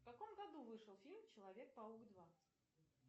в каком году вышел фильм человек паук два